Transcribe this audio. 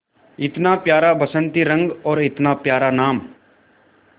इतना प्यारा बसंती रंग और इतना प्यारा नाम